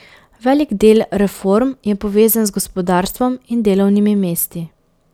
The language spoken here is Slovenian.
Velik del reform je povezan z gospodarstvom in delovnimi mesti.